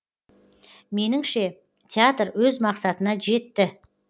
меніңше театр өз мақсатына жетті